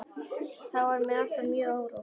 Þá var mér alltaf mjög órótt.